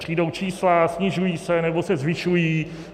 Přijdou čísla, snižují se, nebo se zvyšují.